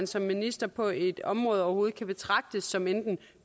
som minister på et område område betragtes som enten